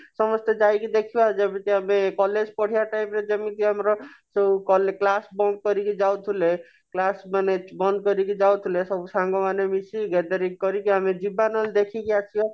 ସମସ୍ତେ ଯାଇକି ଦେଖିବା ଯେମିତି ଆମେ college ପଢିବା time ରେ ଯେମିତି ଆମର ଯଉ class bunk କରିକି ଯାଉଥିଲେ class ମାନେ ବନ୍ଦ କରିକି ଯାଉଥିଲେ ସବୁ ସାଙ୍ଗ ମାନେ ମିଶି gathering କରିକି ଆମେ ଯିବା ନହେଲେ ଦେଖିକି ଆସିବା